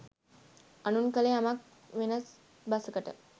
අනුන් කළ යමක් වෙනත් බසකට